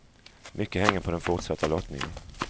Mycket hänger på den fortsatta lottningen.